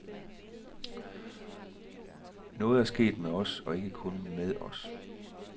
Noget er sket med os og ikke kun med os.